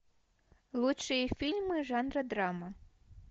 лучшие фильмы жанра драма